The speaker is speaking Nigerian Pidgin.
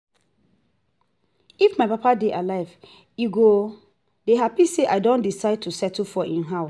if my papa dey alive he go dey happy say i don decide to settle for im house